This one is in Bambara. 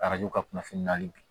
Arajo ka kunnafoni na bi